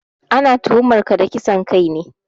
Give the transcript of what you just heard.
Ana tuhumar ka da kisan kai ne